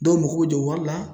Dɔw mago bɛ jɔ wari la.